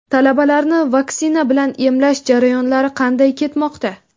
Talabalarni vaksina bilan emlash jarayonlari qanday ketmoqda?.